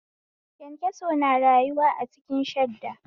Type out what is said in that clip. Kyankyaso na rayuwa a ciki shadda